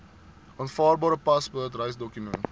aanvaarbare paspoort reisdokument